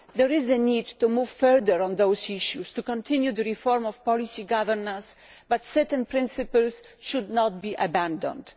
There is a need to move further on those issues, to continue the reform of policy governance, but certain principles should not be abandoned.